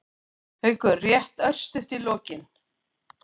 Haukur: Rétt örstutt í lokin.